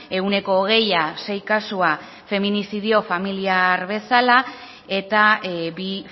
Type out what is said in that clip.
ehuneko hogeia sei kasu feminiziodio familiar bezala eta bi